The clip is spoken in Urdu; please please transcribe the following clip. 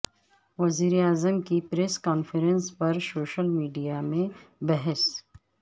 وزیر اعظم کی پریس کانفرنس پر سوشل میڈیا میں بحث